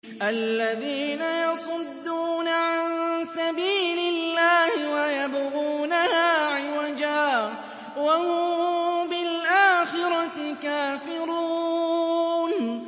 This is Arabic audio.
الَّذِينَ يَصُدُّونَ عَن سَبِيلِ اللَّهِ وَيَبْغُونَهَا عِوَجًا وَهُم بِالْآخِرَةِ كَافِرُونَ